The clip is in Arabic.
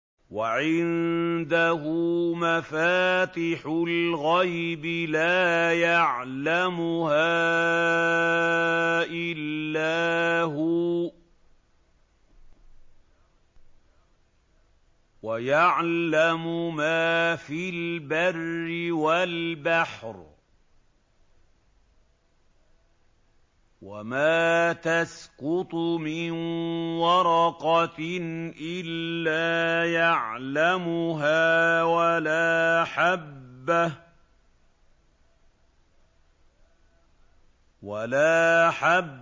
۞ وَعِندَهُ مَفَاتِحُ الْغَيْبِ لَا يَعْلَمُهَا إِلَّا هُوَ ۚ وَيَعْلَمُ مَا فِي الْبَرِّ وَالْبَحْرِ ۚ وَمَا تَسْقُطُ مِن وَرَقَةٍ إِلَّا يَعْلَمُهَا وَلَا حَبَّةٍ